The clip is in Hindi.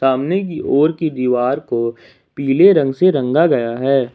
सामने की ओर की दीवार को पीले रंग से रंगा गया है।